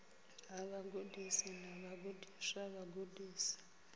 ha vhagudisi na vhagudiswa vhagudisi